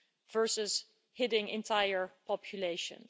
versus hitting entire populations.